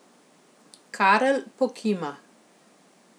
Karl pokima.